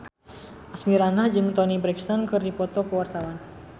Asmirandah jeung Toni Brexton keur dipoto ku wartawan